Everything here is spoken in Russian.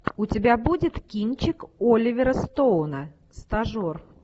у тебя будет кинчик оливера стоуна стажер